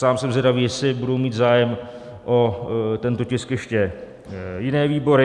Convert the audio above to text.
Sám jsem zvědavý, jestli budou mít zájem o tento tisk ještě jiné výbory.